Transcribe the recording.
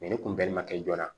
ni kun bɛɛ ma kɛ joona